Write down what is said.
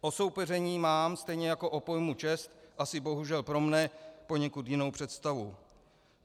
O soupeření mám, stejně jako o pojmu čest, asi bohužel pro mne poněkud jinou představu.